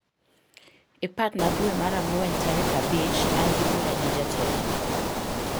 iparna dwe mar angwen tarik abich an gi bura gi jatelo